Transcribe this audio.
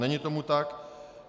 Není tomu tak.